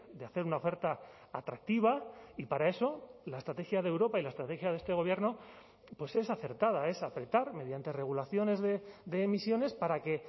de hacer una oferta atractiva y para eso la estrategia de europa y la estrategia de este gobierno pues es acertada es apretar mediante regulaciones de emisiones para que